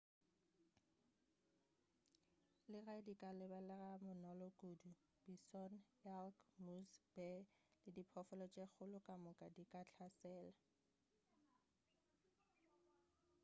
le ge di ka lebelelega bonolo kudu bison elk moose bear le diphoofolo tše dikgolo kamoka di ka hlasela